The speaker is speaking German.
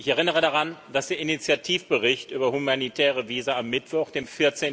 Ich erinnere daran, dass der Initiativbericht über humanitäre Visa am Mittwoch, dem